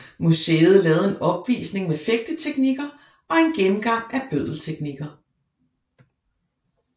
Museet lavede en opvisning med fægteteknikker og en gennemgang af bøddelteknikker